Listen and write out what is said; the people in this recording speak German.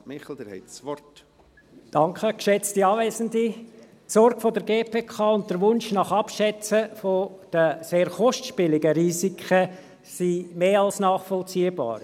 Die Sorge der GPK und der Wunsch nach Abschätzung der sehr kostspieligen Risiken sind mehr als nachvollziehbar.